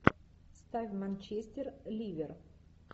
ставь манчестер ливер